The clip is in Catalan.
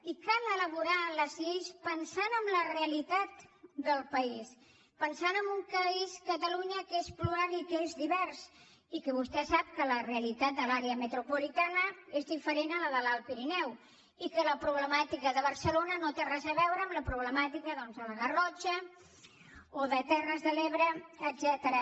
i cal elaborar les lleis pensant en la realitat del país pensant en un país catalunya que és plural i que és divers i que vostè sap que la realitat de l’àrea metropolitana és diferent a la de l’alt pirineu i que la problemàtica de barcelona no té res a veure amb la problemàtica doncs de la garrotxa o de terres de l’ebre etcètera